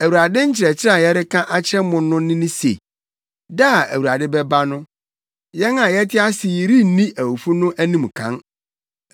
Awurade nkyerɛkyerɛ a yɛreka akyerɛ mo no ne se, da a Awurade bɛba no, yɛn a yɛte ase yi renni awufo no anim kan.